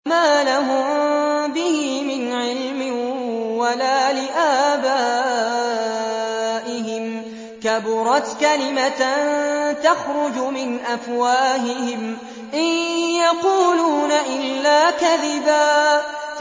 مَّا لَهُم بِهِ مِنْ عِلْمٍ وَلَا لِآبَائِهِمْ ۚ كَبُرَتْ كَلِمَةً تَخْرُجُ مِنْ أَفْوَاهِهِمْ ۚ إِن يَقُولُونَ إِلَّا كَذِبًا